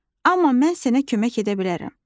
Amma mən sənə kömək edə bilərəm.